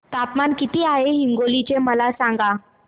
तापमान किती आहे हिंगोली चे मला सांगा